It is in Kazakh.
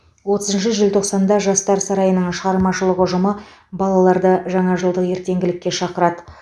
отызыншы желтоқсанда жастар сарайының шығармашылық ұжымы балаларды жаңажылдық ертеңгілікке шақырады